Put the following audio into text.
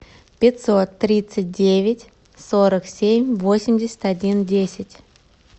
пятьсот тридцать девять сорок семь восемьдесят один десять